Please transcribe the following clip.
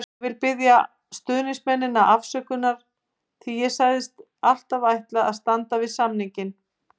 Ég vil biðja stuðningsmennina afsökunar því ég sagðist alltaf ætla að standa við samninginn.